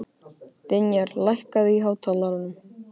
Vinjar, lækkaðu í hátalaranum.